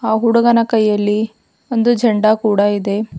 ಆ ಹುಡುಗನ ಕೈಯಲ್ಲಿ ಒಂದು ಝಂಡ ಕೂಡ ಇದೆ.